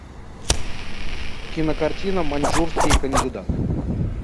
кинокартина маньчжурский кандидат